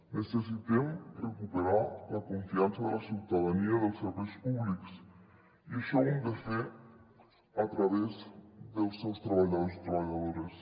necessitem recuperar la confiança de la ciutadania en els serveis públics i això ho hem de fer a través dels seus treballadors i treballadores